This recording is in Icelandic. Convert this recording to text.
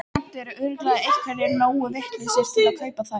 Samt eru örugglega einhverjir nógu vitlausir til að kaupa þær.